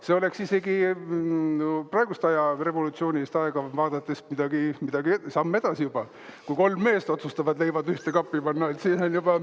See oleks isegi praegust revolutsioonilist aega vaadates samm edasi juba, kui kolm meest otsustavad leivad ühte kappi panna.